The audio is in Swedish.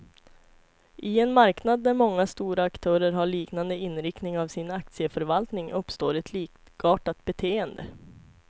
I en marknad där många stora aktörer har liknande inriktning av sin aktieförvaltning, uppstår ett likartat beteende.